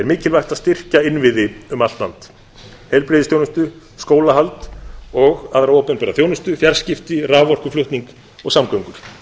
mikilvægt að styrkja innviði um allt land heilbrigðisþjónustu skólahald og aðra opinbera þjónustu fjarskipti raforkuflutning og samgöngur